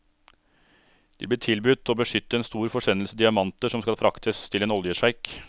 De blir tilbudt å beskytte en stor forsendelse diamanter som skal fraktes til en oljesjeik.